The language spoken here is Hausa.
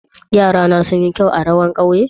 Yara'na sun yi kyau a rawan ƙauye?